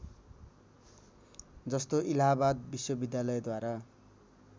जस्तो इलाहाबाद विश्वविद्यालयद्वारा